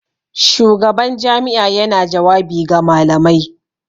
Shugaban jami'a yana jawabi ga malamai.